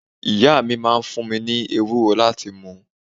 Ìyá mi máa ń fun mi ni ewúro láti mu